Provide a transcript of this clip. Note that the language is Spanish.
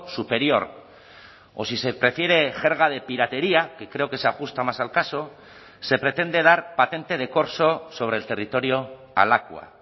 superior o si se prefiere jerga de piratería que creo que se ajusta más al caso se pretende dar patente de corso sobre el territorio a lakua